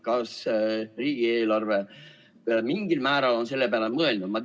Kas riigieelarves on mingil määral selle peale mõeldud?